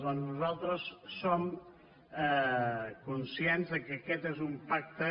doncs nosaltres som conscients que aquest és un pacte